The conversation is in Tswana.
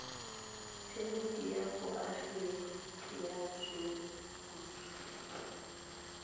phemiti ya boagi ya leruri